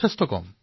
খুব কম